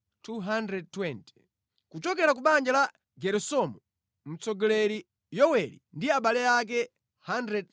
kuchokera ku banja la Geresomu, mtsogoleri Yoweli ndi abale ake 130;